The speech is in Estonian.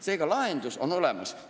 Seega, lahendus on olemas.